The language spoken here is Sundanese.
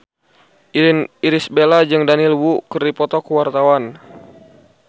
Irish Bella jeung Daniel Wu keur dipoto ku wartawan